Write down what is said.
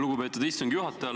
Lugupeetud istungi juhataja!